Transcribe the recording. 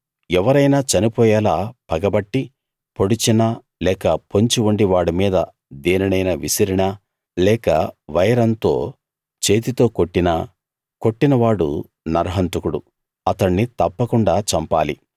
ఎవరైనా చనిపోయేలా పగపట్టి పొడిచినా లేక పొంచి ఉండి వాడి మీద దేనినైనా విసిరినా లేక వైరంతో చేతితో కొట్టినా కొట్టినవాడు నరహంతకుడు అతణ్ణి తప్పకుండా చంపాలి